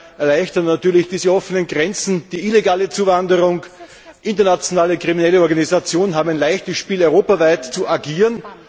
Vielmehr erleichtern natürlich diese offenen Grenzen die illegale Zuwanderung, internationale kriminelle Organisationen haben ein leichtes Spiel, europaweit zu agieren.